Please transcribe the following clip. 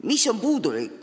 Mis veel puudu on?